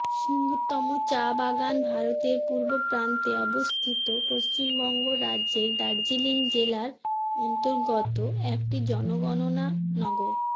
সিংতম চা বাগান ভারতের পূর্বপ্রান্তে অবস্থিত পশ্চিমবঙ্গ রাজ্যের দার্জিলিং জেলার অন্তর্গত একটি জনগণনা নগর